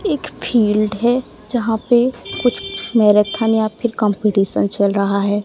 एक फील्ड है जहाँ पे कुछ मैराथन या फिर कम्पटीशन चल रहा है।